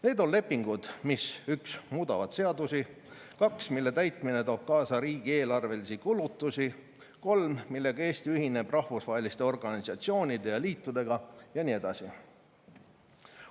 Need on lepingud, 1) mis muudavad seadusi; 2) mille täitmine toob kaasa riigieelarvelisi kulutusi; 3) millega Eesti ühineb rahvusvaheliste organisatsioonide ja liitudega ja nii edasi.